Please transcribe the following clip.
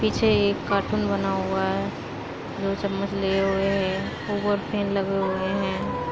पीछे एक कार्टून बना हुआ है। दो चम्मच लिए हुए है लगे हुए हैं।